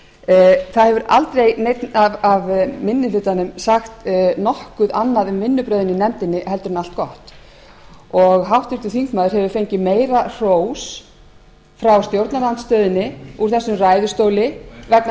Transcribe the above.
kristjánsson það hefur aldrei neinn af minni hlutanum sagt nokkuð annað um vinnubrögðin í nefndinni en allt gott háttvirtur þingmaður hefur fengið meira hrós frá stjórnarandstöðunni úr þessum ræðustóli vegna